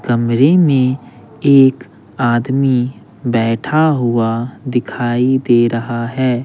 कमरे में एक आदमी बैठा हुआ दिखाई दे रहा है।